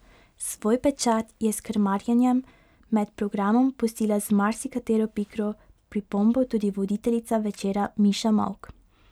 Svoj pečat je s krmarjenjem med programom pustila z marsikatero pikro pripombo tudi voditeljica večera Miša Molk.